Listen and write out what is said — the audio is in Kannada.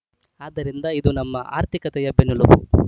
ಆದ್ದರಿಂದ ಇದು ನಮ್ಮ ಆರ್ಥಿಕತೆಯ ಬೆನ್ನೆಲುಬು